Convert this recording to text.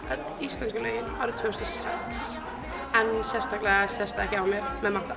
öll íslensku lögin árið tvö þúsund og sex en sérstaklega sést það ekki á mér með matta